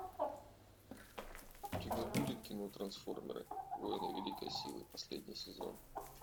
у тебя будет кино трансформеры воины великой силы последний сезон